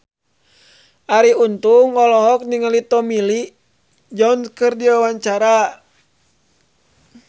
Arie Untung olohok ningali Tommy Lee Jones keur diwawancara